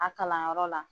A kalanyɔrɔ la